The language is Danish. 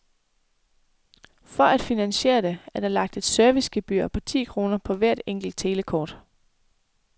For at finansiere det, er der lagt et servicegebyr på ti kroner på hvert enkelt telekort.